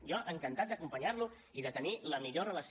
jo encantat d’acompanyar lo i de tenir la millor relació